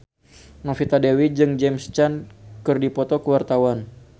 Novita Dewi jeung James Caan keur dipoto ku wartawan